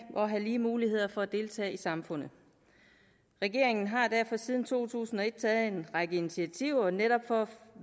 og have lige muligheder for at deltage i samfundet regeringen har derfor siden to tusind og et taget en række initiativer netop for